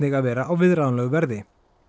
að vera á viðráðanlegu verði